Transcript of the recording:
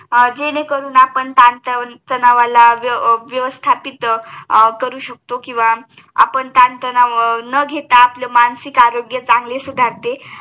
जेणेकरून आपण ताण तणावाला व्यवस्थापित करू शकतो किंवा आपण तान तणाव न घेता आपले मानसिक आरोग्य चांगले सुधारते